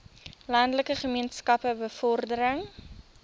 landelike gemeenskappe bevordering